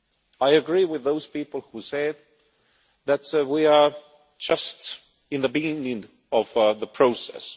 I agree with those people who said that we are just in the beginning of the process.